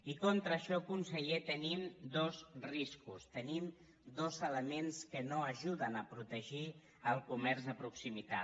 i contra això conseller tenim dos riscos tenim dos elements que no ajuden a protegir el comerç de pro·ximitat